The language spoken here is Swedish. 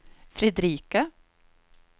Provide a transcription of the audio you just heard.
Fredrika